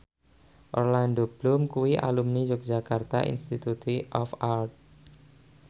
Orlando Bloom kuwi alumni Yogyakarta Institute of Art